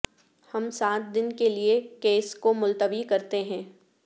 ہم سات دن کے لئے کیس کو ملتوی کرتے ہیں